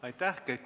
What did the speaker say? Aitäh!